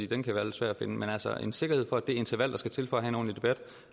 den kan være lidt svær at finde men altså en sikkerhed for at det interval der skal til for